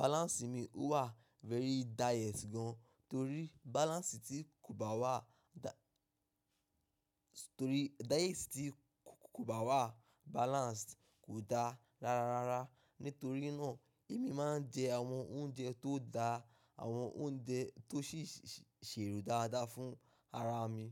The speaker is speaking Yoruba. balance mi wà very diet gan torí balance tí kò bá wà torí diet tí kò bá wà balanced kò da rara. Nítorí náà èmi máa ń jẹ àwọn oúnjẹ tó dáa, àwọn oúnjẹ tó sì ṣèrò dáadáa fún ara mi.